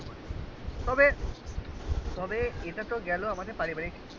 তবে তবে এটা তো গেল আমাদের পারিবারিক